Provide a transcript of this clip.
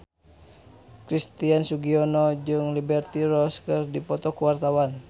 Christian Sugiono jeung Liberty Ross keur dipoto ku wartawan